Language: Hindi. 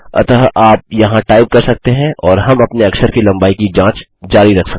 अतः आप यहाँ टाइप कर सकते हैं और हम अपने अक्षर की लम्बाई की जाँच जारी रख सकते हैं